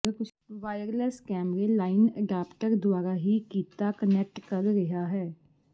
wireless ਕੈਮਰੇ line adapter ਦੁਆਰਾ ਹੀ ਕੀਤਾ ਕਨੈਕਟ ਕਰ ਰਿਹਾ ਹੈ